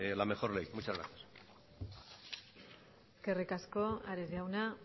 la mejor ley muchas gracias eskerrik asko ares jauna